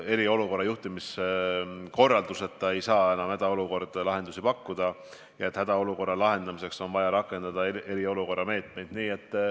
Eriolukorra juhtimiskorralduseta ei saa hädaolukorras lahendusi pakkuda, nii et hädaolukorra lahendamiseks on vaja rakendada eriolukorra meetmeid.